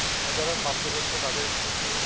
আর যারা প্রাপ্তবয়স্ক তাদের entertainment এর